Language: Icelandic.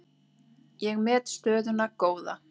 Ég met stöðuna góða.